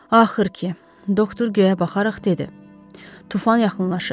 Axır ki, doktor göyə baxaraq dedi: tufan yaxınlaşır.